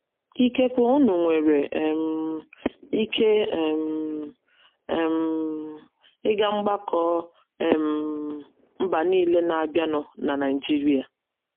Ikekwe unu nwere um ike um um ịga mgbakọ um mba nile na - abịanụ na Naịjirịa! ”